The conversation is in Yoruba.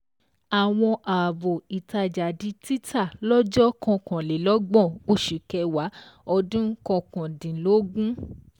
Àwọn ààbò ìtajà di títà lọ́jọ́ ọ̀kanlélọ́gbọ̀n oṣù kẹwàá ọdún ọkàn dínlógún.